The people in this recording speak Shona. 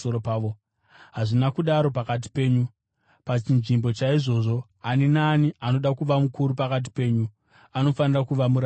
Hazvina kudaro pakati penyu. Pachinzvimbo chaizvozvo, ani naani anoda kuva mukuru pakati penyu anofanira kuva muranda wenyu,